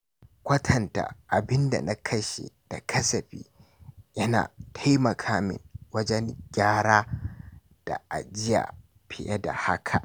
Kwatanta abin da na kashe da kasafi yana taimaka min wajen gyara da ajiya fiye da haka.